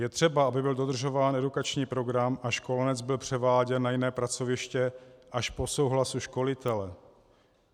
Je třeba, aby byl dodržován edukační program a školenec byl převáděn na jiné pracoviště až po souhlasu školitele.